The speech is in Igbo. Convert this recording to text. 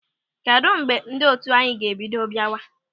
Kedụ mgbe ndị otu anyị ga-ebido biawa?